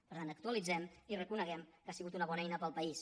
per tant actualitzem i reconeguem que ha sigut una bona eina per al país